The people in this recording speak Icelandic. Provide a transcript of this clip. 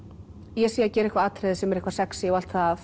ég sé að gera eitthvað atriði sem er eitthvað sexí og allt það